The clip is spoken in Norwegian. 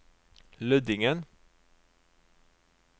Lødingen